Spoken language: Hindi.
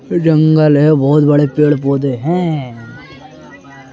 जंगल है बहुत बड़े पेड़-पौधे हैं ।